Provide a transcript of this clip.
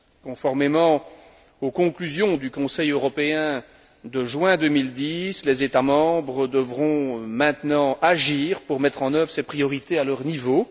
Conformément aux conclusions du Conseil européen de juin 2010, les États membres devront maintenant agir pour mettre en œuvre ces priorités à leur niveau.